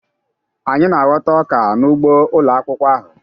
Anyị na-aghọta ọka n'ugbo ụlọ akwụkwọ ahụ.